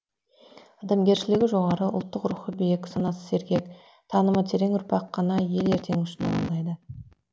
адамгершілігі жоғары ұлттық рухы биік санасы сергек танымы терең ұрпақ қана ел ертеңі үшін алаңдайды